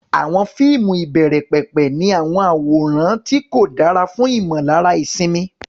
Àwọn fíìmù ìbẹ̀rẹ̀pẹ̀pẹ̀ ní àwọn àwòrán tí kò dára fún ìmọ̀lára ìsinmi.